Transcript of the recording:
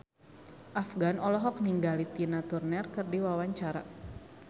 Afgan olohok ningali Tina Turner keur diwawancara